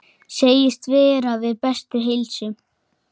Segist vera við bestu heilsu.